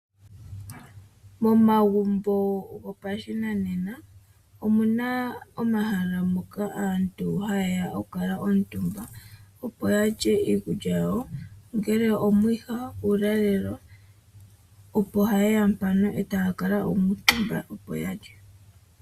Momagumbo gopashinanena omuna omahala moka aantu haye ya kale omutumba opo yalye iikulya yawo ongele omwiha uulalelo opo haye ya ya kale ya kuutumba opo ya lye.